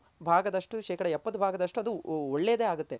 ಎಪ್ಪತು ಭಾಗದಷ್ಟು ಶೇಕಡಾ ಎಪ್ಪತು ಭಾಗದಷ್ಟು ಒಳ್ಳೆದೆ ಆಗುತ್ತೆ.